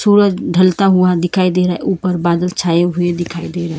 सूरज ढलता हुआ दिखाई दे रा है ऊपर बादल छाए हुए दिखाई दे रहे।